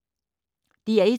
DR1